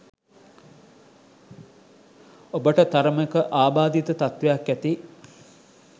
ඔබට තරමක ආබාධිත තත්වයක් ඇති